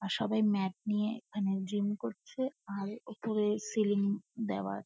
আর সবাই ম্যাট নিয়ে ওখানে জিম করছে আর উপরে সিলিং দেওয়া--